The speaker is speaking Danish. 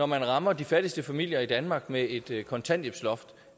man rammer de fattigste familier i danmark med et kontanthjælpsloft